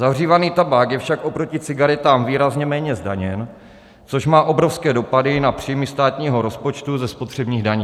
Zahřívaný tabák je však oproti cigaretám výrazně méně zdaněn, což má obrovské dopady na příjmy státního rozpočtu ze spotřebních daní.